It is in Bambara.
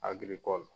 Agiriko